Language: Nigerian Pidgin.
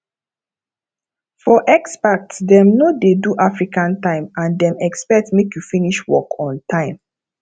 for expats dem no dey do african time and dem expect make you finish work on time